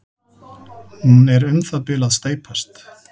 Hún er um það bil að steypast.